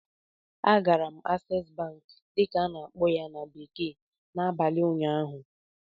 Agara m "Access Bank" dịka a na-akpọ ya na bekee n'abalị ụnyaahụ